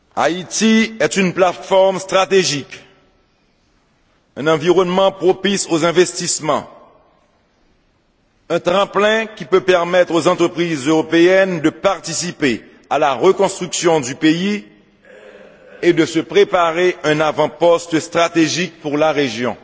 Haïti est une plateforme stratégique, un environnement propice aux investissements, un tremplin qui peut permettre aux entreprises européennes de participer à la reconstruction du pays et de se préparer un avant poste stratégique pour la région.